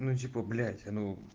ну типа блять ну